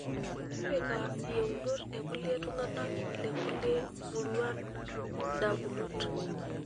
Tipika iyeunot e kulie tung'anak le kulie muruan indamunot .